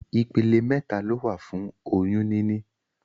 Ìpele mẹta lowa fún oyún níní